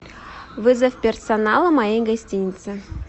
вызов персонала моей гостиницы